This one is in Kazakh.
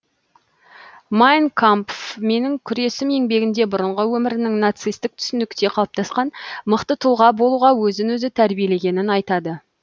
майн кампф менің күресім еңбегінде бұрынғы өмірінің нацистік түсінікте қалыптасқан мықты тұлға болуға өзін өзі тәрбиелегенін айтады